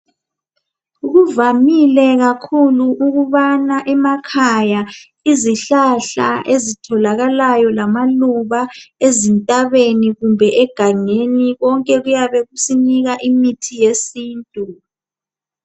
Kuvamile kakhulu ukubana emakhaya izihlahla ezitholakalayo lamaluba ezintabeni kumbe egangeni konke kuyabe kusinika imithi yesintu.